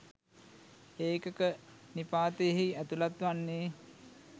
ඒකක නිපාතයෙහි ඇතුළත් වන්නේ